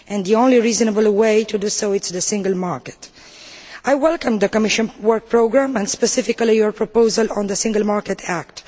The only reasonable way to achieve this is through the single market. I welcome the Commission work programme, and specifically your proposal on the Single Market Act.